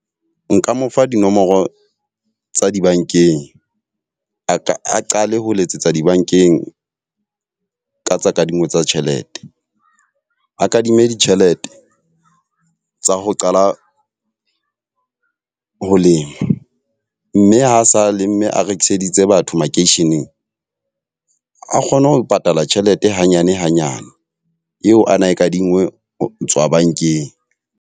Nka mo fa dinomoro tsa dibankeng, a ka a qale ho letsetsa dibankeng ka tsa kadingo tsa tjhelete. A kadime ditjhelete tsa ho qala ho lema. Mme ha sa lemme a rekiseditse batho makeisheneng a kgone ho patala tjhelete hanyane hanyane eo ana kadingwe ho tswa bankeng.